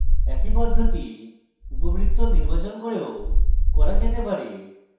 একই পদ্ধতি উপবৃত্ত নির্বাচন করেও করা যেতে পারে